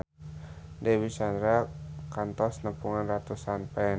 Dewi Sandra kantos nepungan ratusan fans